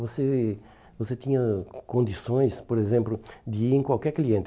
Você você tinha condições, por exemplo, de ir em qualquer cliente.